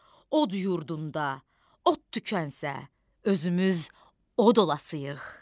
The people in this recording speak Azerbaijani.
Od yurdunda, od tükənsə, özümüz od olasayıq.